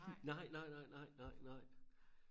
nej nej nej nej nej